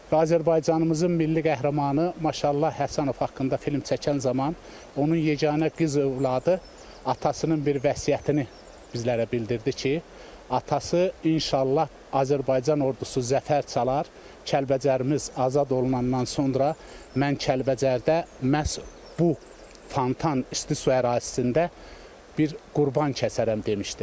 Və Azərbaycanımızın milli qəhrəmanı Maşallah Həsənov haqqında film çəkən zaman onun yeganə qız övladı atasının bir vəsiyyətini bizlərə bildirdi ki, atası inşallah Azərbaycan Ordusu zəfər çalar, Kəlbəcərimiz azad olunandan sonra mən Kəlbəcərdə məhz bu fontan isti su ərazisində bir qurban kəsərəm demişdi.